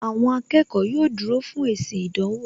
Àwọn akẹ́kọ̀ọ́ yóò dúró fún èsì ìdánwò